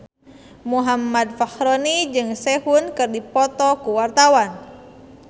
Muhammad Fachroni jeung Sehun keur dipoto ku wartawan